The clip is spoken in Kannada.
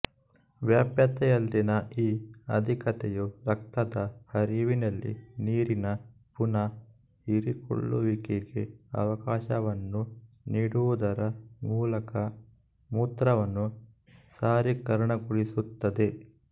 ವ್ಯಾಪ್ಯತೆಯಲ್ಲಿನ ಈ ಅಧಿಕತೆಯು ರಕ್ತದ ಹರಿವಿನಲ್ಲಿ ನೀರಿನ ಪುನಃ ಹೀರಿಕೊಳ್ಳುವಿಕೆಗೆ ಅವಕಾಶವನ್ನು ನೀಡುವುದರ ಮೂಲಕ ಮೂತ್ರವನ್ನು ಸಾರೀಕರಣಗೊಳಿಸುತ್ತದೆ